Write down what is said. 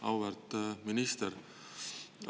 Auväärt minister!